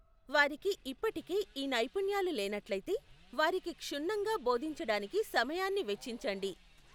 వారికి ఇప్పటికే ఈ నైపుణ్యాలు లేనట్లయితే, వారికి క్షుణ్నంగా బోధించడానికి సమయాన్ని వెచ్చించండి.